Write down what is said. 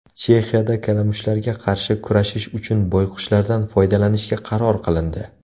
Chexiyada kalamushlarga qarshi kurashish uchun boyqushlardan foydalanishga qaror qilindi.